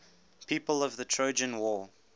people of the trojan war